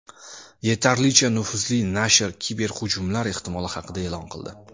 Yetarlicha nufuzli nashr kiberhujumlar ehtimoli haqida e’lon qildi.